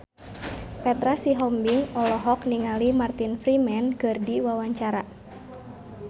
Petra Sihombing olohok ningali Martin Freeman keur diwawancara